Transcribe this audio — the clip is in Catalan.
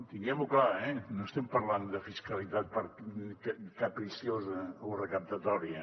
tinguem ho clar eh no estem parlant de fiscalitat capriciosa o recaptatòria